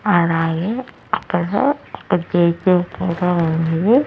ఆడాయి అక్కడ ఇక్కడ జై జై కూడా ఉంది.